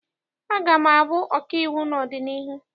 Aga m abụ ọkaiwu n'ọdịnihu.